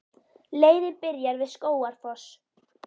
Leiðin byrjar við Skógafoss.